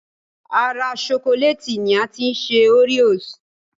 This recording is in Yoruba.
Ara ṣokolẹ́ẹ̀tì ni a ti ṣe oreos